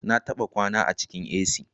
Na taba kwana a cikin A.c